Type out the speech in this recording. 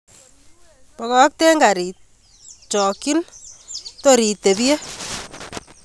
Bokokten garit, chokyin tor itebye.